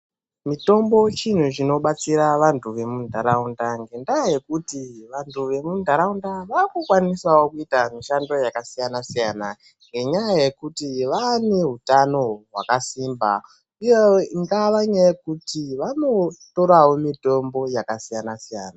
Mitombo chinhu chinobatsira vantu vemundaraunda ngenda yekuti vantu vemundaraunda akukwanisawo kuita mishando yakasiyana siyana ngenda yekuti vane hutano hwakasimba uye ingava nyaya yekuti vanotorawo mitombo yakasiyana siyana.